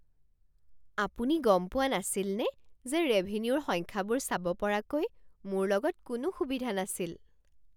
আপুনি গম পোৱা নাছিলনে যে ৰেভিনিউৰ সংখ্যাবোৰ চাব পৰাকৈ মোৰ লগত কোনো সুবিধা নাছিল?